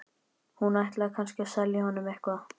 Hún ætlaði kannski að selja honum eitthvað.